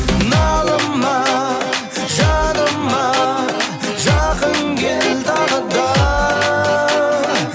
налыма жаныма жақын кел тағы да